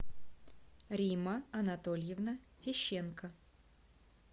римма анатольевна фищенко